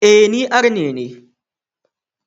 E, ni Arne ne.